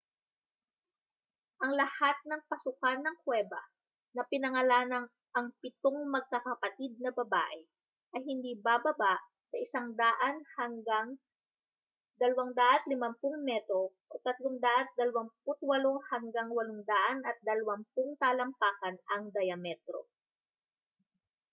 ang lahat ng pasukan ng kuweba na pinangalanang ang pitong magkakapatid na babae ay hindi bababa sa 100 hanggang 250 metro 328 hanggang 820 talampakan ang dyametro